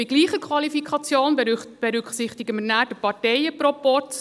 Bei gleicher Qualifikation berücksichtigen wir dann den Parteienproporz.